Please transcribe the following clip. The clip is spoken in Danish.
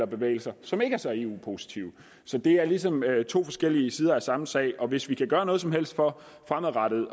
bevægelser som ikke er så eu positive så det er ligesom to forskellige sider af samme sag hvis vi kan gøre noget som helst for fremadrettet